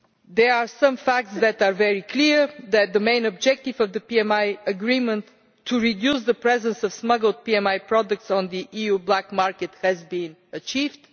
There are some facts that are very clear that the main objective of the PMI agreement to reduce the presence of smuggled PMI products on the EU black market has been achieved.